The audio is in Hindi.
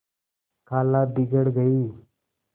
खाला बिगड़ गयीं